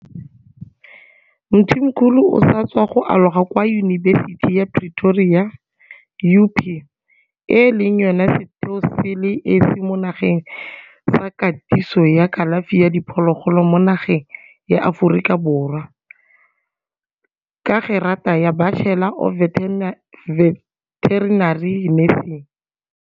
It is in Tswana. Mthimkhulu o sa tswa go aloga kwa Yunibesithing ya Pretoria UP, e leng yona setheo se le esi mo nageng sa katiso ya kalafi ya diphologolo mo nageng ya Aforika Borwa, ka gerata ya Bachelor of Veterinary Nursing.